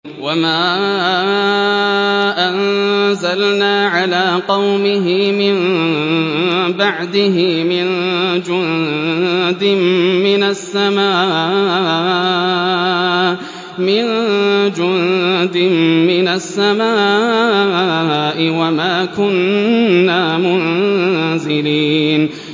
۞ وَمَا أَنزَلْنَا عَلَىٰ قَوْمِهِ مِن بَعْدِهِ مِن جُندٍ مِّنَ السَّمَاءِ وَمَا كُنَّا مُنزِلِينَ